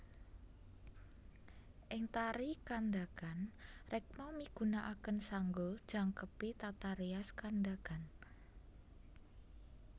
Ing tari Kandagan rekma migunakaken sanggul jangkepi tata rias Kandagan